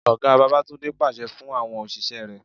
Ọ̀gá Babatunde pàṣẹ fún àwọn òṣìṣẹ́ rẹ.